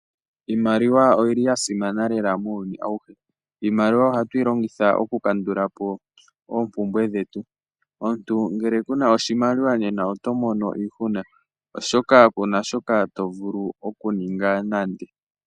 Iimaliwa oyili ya simana lela muuyuni awuhe. Iimaliwa ohatu yi longitha oku kandulapo oompumbwe dhetu. Omuntu ngele kuna oshimaliwa nena oto mono iihuna oshoka kuna shoka to vulu oku ninga nande.